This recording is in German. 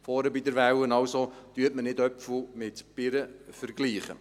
Also, vergleichen Sie nicht Äpfel mit Birnen!